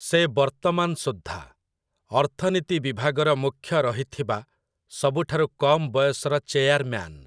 ସେ ବର୍ତ୍ତମାନ ସୁଦ୍ଧା, ଅର୍ଥନୀତି ବିଭାଗର ମୁଖ୍ୟ ରହିଥିବା ସବୁଠାରୁ କମ୍‌ ବୟସର ଚେୟାରମ୍ୟାନ୍ ।